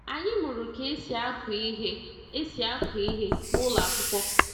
Anyị mụrụ ka esi aku ihe esi aku ihe na ụlọ akwụkwọ.